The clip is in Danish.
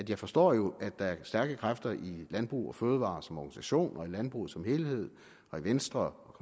jeg forstår jo at der er stærke kræfter i landbrug fødevarer som organisation i landbruget som helhed og i venstre